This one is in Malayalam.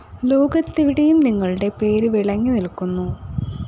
ലോകത്തെവിടെയും നിങ്ങളുടെ പേരു വിളങ്ങി നില്‍ക്കുന്നു